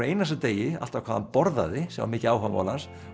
einasta degi alltaf hvað hann borðaði sem var mikið áhugamál hans